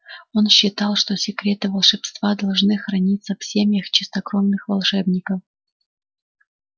он считал что секреты волшебства должны храниться в семьях чистокровных волшебников